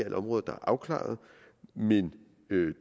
områder der er afklaret men